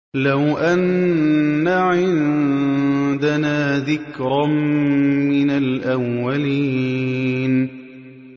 لَوْ أَنَّ عِندَنَا ذِكْرًا مِّنَ الْأَوَّلِينَ